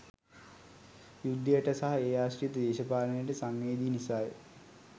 යුද්ධයට සහ ඒ ආශ්‍රිත දේශපාලනයට සංවේදී නිසා ය.